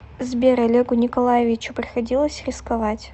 сбер олегу николаевичу приходилось рисковать